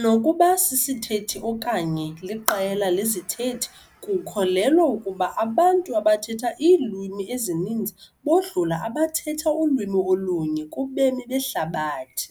nokuba sisithethi okanye liqela lezithethi. Kukholelwa ukuba abantu abathetha iilwimi ezininzi bodlula abathetha ulwimi olunye kubemi behlabathi .